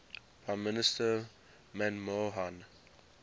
prime minister manmohan